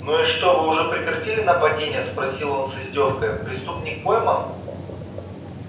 ну и что вы уже прекратили нападения спросил он с издёвкою преступник пойман